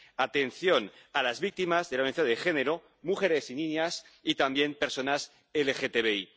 atención a las víctimas de la violencia de género, mujeres y niñas y también personas LGTBI.